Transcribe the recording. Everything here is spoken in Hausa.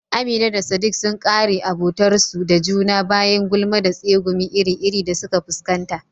Amina da sadik sun kare abotarsu da juna bayan gulma da tsegumi iri-iri da suka fuskanta